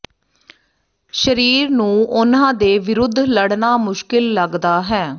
ਸਰੀਰ ਨੂੰ ਉਹਨਾਂ ਦੇ ਵਿਰੁੱਧ ਲੜਨਾ ਮੁਸ਼ਕਿਲ ਲਗਦਾ ਹੈ